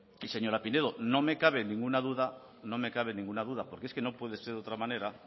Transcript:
y señora pinedo no me cabe ninguna duda no me cabe ninguna duda porque es que no puede ser de otra manera